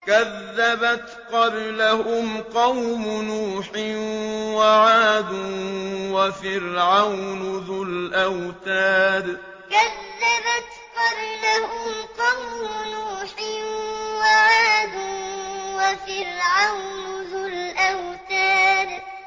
كَذَّبَتْ قَبْلَهُمْ قَوْمُ نُوحٍ وَعَادٌ وَفِرْعَوْنُ ذُو الْأَوْتَادِ كَذَّبَتْ قَبْلَهُمْ قَوْمُ نُوحٍ وَعَادٌ وَفِرْعَوْنُ ذُو الْأَوْتَادِ